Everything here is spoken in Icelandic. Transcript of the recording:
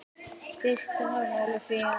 Hver er staðan Ólafía?